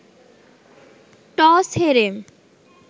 toss হেরে